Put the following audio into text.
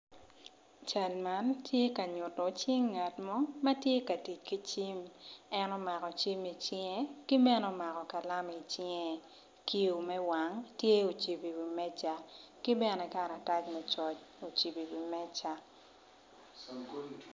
Cal man tye ka nyuto cing ngat mo ma tye ka tic ki cim en omako cim icinge ki bene omako kalam i cinge kiyo me wang tye ocibo iwi meja ki bene karatac me coc ocibo iwi meja.